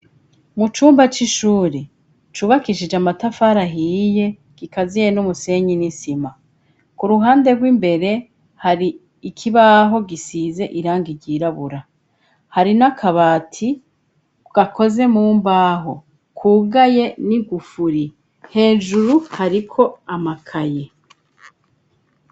Mu cumba c'ishuri cubakishije amatafari ahiye, gikaziye n'umusenyi n'isima, k'uruhande rw'imbere hari ikibaho gisize irangi ryirabura, hari n'akabati gakoze mumbaho kugaye n'igufuri, hejuru hariko amakaye.